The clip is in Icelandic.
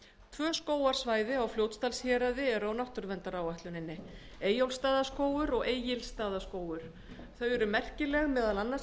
tvö skógarsvæði á fljótsdalshéraði eru á náttúruverndaráætlun eyjólfsstaðaskógur og egilsstaðaskógur þau eru merkileg meðal annars